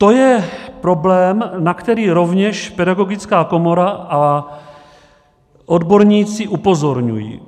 To je problém, na který rovněž Pedagogická komora a odborníci upozorňují.